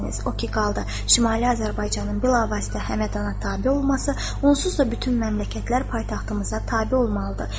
O ki qaldı Şimali Azərbaycanın bilavasitə Həmədana tabe olması, onsuz da bütün məmləkətlər paytaxtımıza tabe olmalıdır.